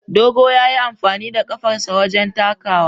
Dogo ya yi amfani da kafarsa wajen takawa.